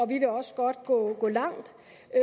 vi vil også godt gå langt